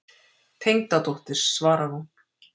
Tengdadóttir, svarar hún.